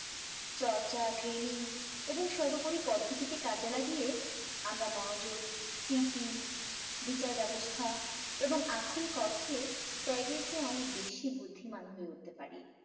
চর্চা training এবং সর্বোপরি পদ্ধতিকে কাজে লাগিয়ে আমরা মনোযোগ স্মৃতি বিচার ব্যবস্থা এবং আক্ষরিক অর্থে ত্যাগের চেয়ে অনেক বেশি বুদ্ধিমান হয়ে উঠতে পারি